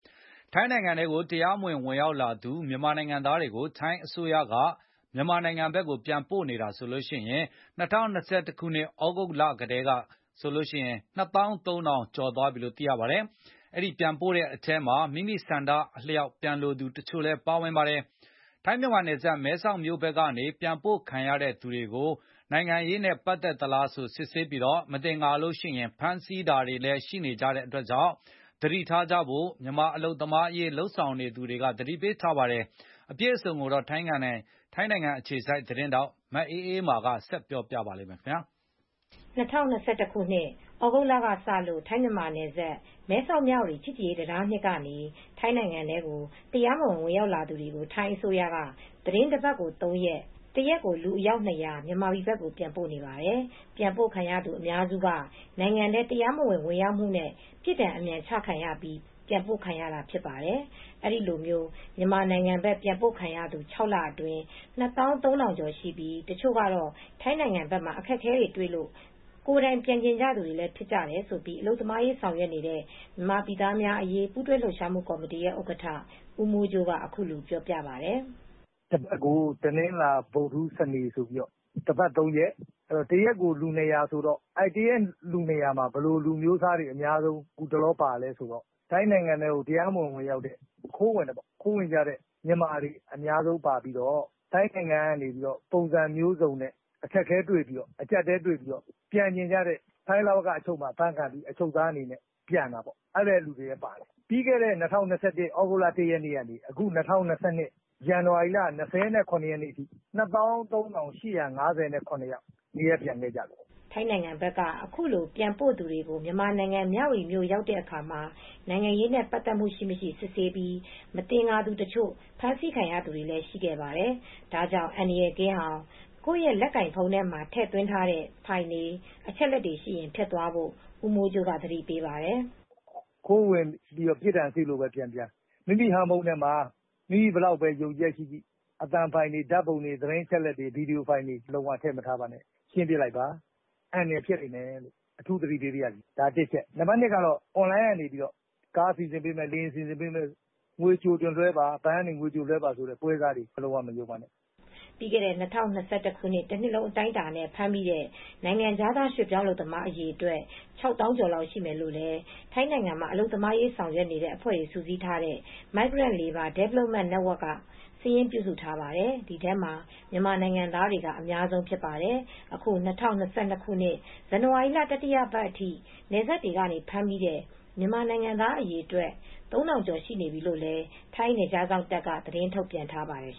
ထိုင်းနိုင်ငံထဲကို တရားမဝင် ဝင်ရောက်လာသူ အများစုပါတဲ့ မြန်မာနိုင်ငံသားတွေကို ထိုင်းအစိုးရက မြန်မာနိုင်ငံဘက်ကို ပြန်ပို့နေတာ ၂၀၂၁ ခုနှစ် သြဂုတ်ကတည်းကဆိုရင် ၂၃,၀၀၀ ကျော် ရှိသွားပါပြီ။ ထိုင်း-မြန်မာနယ်စပ် မဲဆောက်မြို့ဘက်ကနေ ပြန်ပို့ခံရသူတွေကို နိုင်ငံရေးနဲ့ပတ်သက်သလား စစ်ဆေးပြီး မသင်္ကာရင် ဖမ်းဆီးတာတွေရှိတာကြောင့် သတိထားကြဖို့ မြန်မာ အလုပ်သမားအရေး လုပ်နေသူက သတိပေးပါတယ်။ အပြည့်အစုံကို ထိုင်းအခြေစိုက်သတင်းထောက် မအေးအေးမာက သတင်းပေးပို့ထားပါတယ်။ ထိုင်းနိုင်ငံထဲ တရားမဝင် ဝင်ရောက်လာသူတွေကို ၂၀၂၁ ခုနှစ် သြဂုတ်လထဲကစလို့ ထိုင်း-မြန်မာနယ်စပ် မဲဆောက်- မြဝတီ ချစ်ကြည်ရေးတံတား အမှတ် ကနေ ထိုင်းအစိုးရက သီတင်းတပတ်ကို ၃ ရက်၊ ၁ ရက်ကို လူအယောက်၂၀၀ မြန်မာပြည် ဘက် ပြန်ပို့နေတာပါ။ ပြန်ပို့ခံရသူအများစုက ထိုင်းနိုင်ငံထဲ တရားမဝင် ဝင်ရောက်မှုနဲ့ ပြစ်ဒဏ်အမြန်ချခံရပြီး ပြန်ပို့ခံရတာဖြစ်ပါ တယ်။ အဲဒီလို မြန်မာနိုင်ငံဘက် ပြန်ပို့ခံရသူ ၆ လအတွင်း ၂၃,၀၀၀ ကျော်ရှိပြီး တချို့ကတော့ ထိုင်းနိုင်ငံဘက်မှာ အခက်အခဲ တွေ့လို့ ကိုယ်တိုင်ပြန်ချင်သူတွေဖြစ်တယ်လို့ အလုပ်သမားရေးဆောင်ရွက်နေတဲ့ မြန်မာပြည်သားများအရေး ပူးတွဲလှုပ်ရှားမှုကော်မတီဥက္ကဋ္ဌ ဦးမိုးကြိုးက ပြောပါတယ်။ “တပတ်ကို တနင်္လာ၊ ဗုဒ္ဓဟူး၊ စနေ တပတ် ၃ ရက် တနေ့ကိုလူ ၂၀၀ ပါ။ တရက်ကို လူ၂၀၀မှာ ဘယ်လို အမျိုးအစားတွေအများဆုံးပါသလဲဆိုတော့ ထိုင်းနိုင်ငံထဲကို အထောက်အထားမဲ့တွေ ခိုးဝင်ကြတဲ့မြန်မာတွေ အများဆုံးပါပြီးတော့ ထိုင်းနိုင်ငံမှာအခက်အခဲတွေ့တဲ့သူတွေ အကြပ်အတည်းတွေ့ပြီး ပြန်ချင်ကြသူတွေက ထိုင်းလဝကအချုပ်မှာ အဖမ်းခံပြီးအချုပ်သားအနေနဲ့ပြန်ကြသူတွေလည်းရှိတယ် ။ပြီးခဲ့တဲ့ ၂၀၂၁ သြဂုတ်လ ရက်နေ့ကနေ ၂၀၂၂ခုနှစ်ဇန်နဝါရီလ ရက်နေ့ထိ ၂၃၈၅၇ ယောက်နေရပ်ပြန်ခဲ့ကြပါတယ်။” ထိုင်းနိုင်ငံဘက်က အခုလိုပြန်ပို့သူတွေ မြန်မာနိုင်ငံ မြဝတီမြို့ဘက်ရောက်တဲ့အခါ နိုင်ငံရေးနဲ့ ပတ်သက်မှု ရှိမရှိ စစ်ဆေးပြီး မသင်္ကာသူတချို့ ဖမ်းဆီးခံရတာလည်းရှိပါတယ်။ ဒါကြောင့် အန္တရာယ်ကင်းအောင် ကိုယ့်ရဲ့လက်ကိုင်ဖုန်းထဲမှာ ထည့်သွင်း ထားတဲ့ ဖိုင်တွေ အချက်အလက်တွေရှိရင် ဖျက်သွားဖို့ ဦးမိုးကြိုးက သတိပေးပါတယ်။ “ခိုးဝင်ပြီးတော့ပဲပြန်ပြန် ပြစ်ဒဏ်လွတ်ရက်စေ့လို့ပဲ ပြန်ရ ပြန်ရ မိမိရဲ့ဟန်းဖုန်းထဲမှာ မိမိဘယ်လောက်ပဲယုံကြည်ချက်ရှိရှိ အသံဖိုင်တွေပုံတွေ ဗွီဒီယိုဖိုင်တွေကို မထည့်ထားပါနဲ့ အန္တရယ်ရှိပါတယ် အထူးသတိပေးပါရစေ ဒါက အချက်ပါ ။ နံပါတ် အချက်ကတော့ အွန်လိုင်းကနေ ကားစီစဉ်ပေးမယ်။ လေယာဉ်စီစဉ်ပေးမယ်။ ငွေကြိုတင်လွှဲပါဆိုတဲ့ ပွဲစားတွေကို လုံးဝမယုံကြည်ပါနဲ့” ပြီးခဲ့တဲ့ ၂၀၂၁ တနှစ်လုံး အတိုင်းအတာနဲ့ ဖမ်းမိတဲ့ နိုင်ငံခြားသား ရွှေ့ပြောင်းအလုပ်သမားအရေအတွက် ၆၀,၀၀၀ ကျော်လောက်ရှိမယ်လို့လည်း ထိုင်းနိုင်ငံမှာ အလုပ်သမားရေးဆောင်ရွက်နေတဲ့အဖွဲ့တွေ စုပေါင်းထားတဲ့ Migrant Labour Development Network က စာရင်းပြုစုထားပါတယ်။ အဲဒီထဲမှာ မြန်မာနိုင်ငံသားတွေက အများဆုံးဖြစ်ပါတယ်။ အခု ၂၀၂၂ ခုနှစ် ဇန်နဝါရီလ တတိယပတ်အထိ နယ်စပ်တွေကနေ ဖမ်းမိတဲ့ မြန်မာနိုင်ငံသားအရေအတွက် ၃,၀၀ ကျော် ရှိနေပြီလို့ ထိုင်း နယ်ခြားစောင့်တပ်က သတင်းထုတ်ပြန်ထားပါတယ်